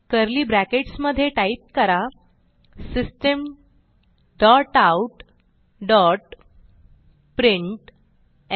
curly brackets मधे type करा system dot out dot println